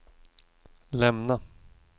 lämna